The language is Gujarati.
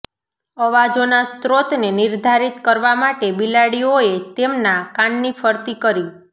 અવાજોના સ્રોતને નિર્ધારિત કરવા માટે બિલાડીઓએ તેમના કાનની ફરતી કરી